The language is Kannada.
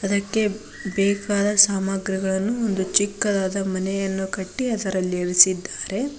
ಅದಕ್ಕೆ ಬೇಕಾದ ಸಾಮಗ್ರಿಗಳನ್ನು ಇದು ಚಿಕ್ಕದಾದ ಮನೆಯನ್ನು ಕಟ್ಟಿ ಅದರಲ್ಲಿ ಇರಿಸಿದ್ದಾರೆ.